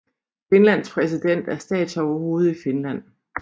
Finlands præsident er statsoverhovedet i Finland